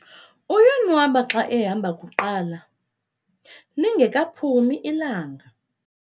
uyonwaba xa ehamba kuqala, lingekaphumi ilanga